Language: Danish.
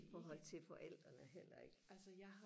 i forhold til forældrene heller ikke